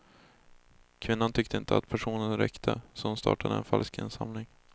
Kvinnan tyckte inte att pensionen räckte, så hon startade en falsk insamling.